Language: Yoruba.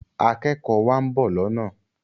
akékòó wa nbọ lọnà.